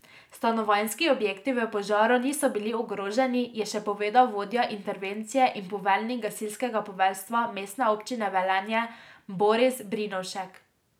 Stanovanjski objekti v požaru niso bili ogroženi, je še povedal vodja intervencije in poveljnik gasilskega poveljstva Mestne občine Velenje Boris Brinovšek.